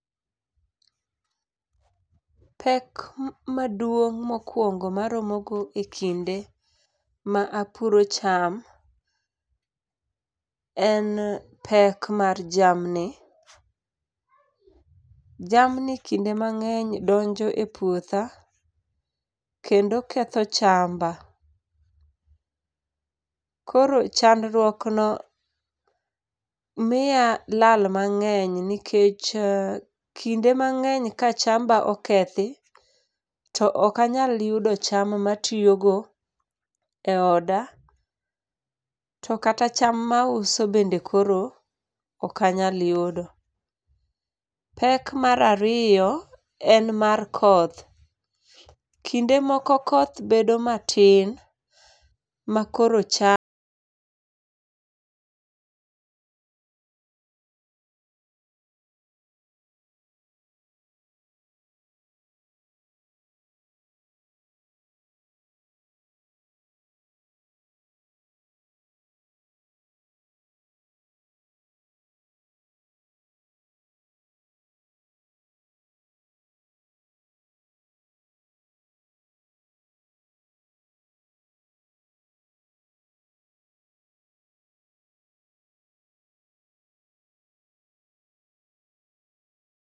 Pek maduog' mokwong maromo go ekinde ma apuro cham, en pek mar jamni. Jamni kinde mang'eny donjo e puotha kendo ketho chamba. Koro chandrwuok no miya lal mang'eny nikech, kinde mang'eny ka chamba okethi, to okanyal yudo cham ma tiyo go e oda, to kata cham mauso bende koro okanyal yudo. Pek marariyo, en mar koth. Kinde moko koth bedo matin ma koro cha